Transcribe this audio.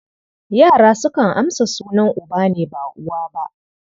Yara sukan amsa sunan uba ne, ba uwa ba.